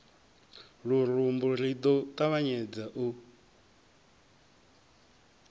lurumbu ri ḓo ṱavhanyedza u